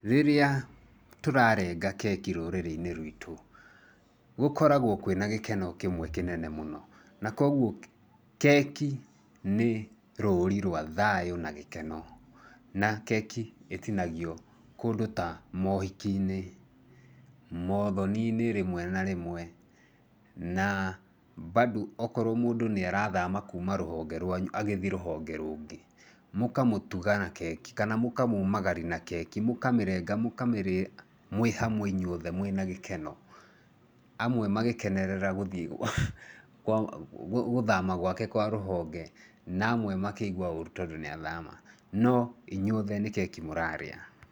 Rĩrĩa tũrarenga keki rũrĩrĩ-inĩ ruitũ, gũkoragwo kwĩna gĩkeno kĩmwe kĩnene mũno, na kwoguo keki nĩ rũri rwa thayũ na gĩkeno na keki ĩtinagio kũndũ ta mohikinĩ, mothoninĩ rĩmwe na rĩmwe na mbandũ okoruo mũndũ nĩ arathama kuma rũhonge ruanyu agĩthiĩ rũhonge rũngĩ, mũkamũtuga na keki kana mũkamumagaria nakeki, mũkamĩrenga mũkamĩrĩa mwĩ hamwe inyuothe mwĩna gĩkeno, amwe makĩkenerera gũthama gwake kwa rũhonge, na amwe makĩigua ũru tondũ nĩ athama, no inyuothe nĩ keki mũrarĩa.